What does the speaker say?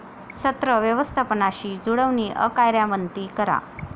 सत्र व्यवस्थपानशी जुळवणी अकार्यान्वती करा